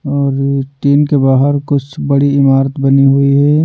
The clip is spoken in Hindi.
और टीन के बाहर कुछ बड़ी इमारत बनी हुई है।